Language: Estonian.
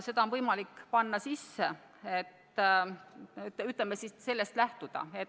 See on võimalik panna sisse ja sellest lähtuda.